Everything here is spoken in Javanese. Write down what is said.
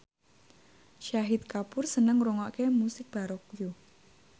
Shahid Kapoor seneng ngrungokne musik baroque